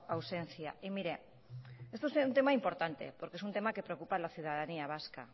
ausencia y mire este es un tema importante porque es un tema que preocupa a la ciudadanía vasca